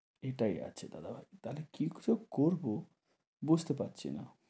এটাই আছে দাদা ভাই। তাহলে কী যে করব বুঝতে পারছি।